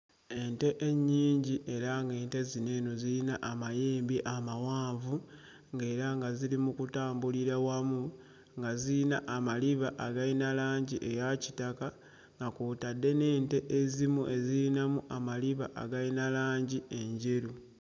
Ente ennyingi era ng'ente zino eno ziyina amayembe amawanvu ng'era nga ziri mu kutambulira wamu nga ziyina amaliba agayina langi eya kitaka nga kw'otadde n'ente ezimu eziyinamu amaliba agayina langi enjeru.